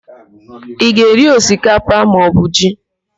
Ị ga-eri osikapa maọbụ ji?